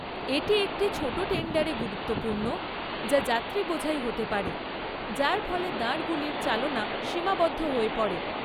এটি একটি ছোট টেন্ডারে গুরুত্বপূর্ণ যা যাত্রীবোঝাই হতে পারে, যার ফলে দাঁড়গুলির চালনা সীমাবদ্ধ হয়ে পড়ে।